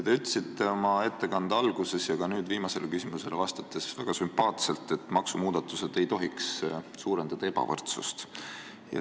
Te ütlesite oma ettekande alguses ja ka viimasele küsimusele vastates väga sümpaatselt, et maksumuudatused ei tohiks suurendada ebavõrdsust.